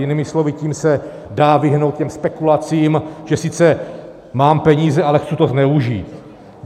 Jinými slovy, tím se dá vyhnout těm spekulacím, že sice mám peníze, ale chci to zneužít.